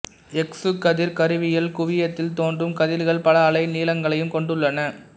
X கதிர் கருவியில் குவியத்தில் தோன்றும் கதிர்கள் பல அலை நீளங்களையும் கொண்டுள்ளன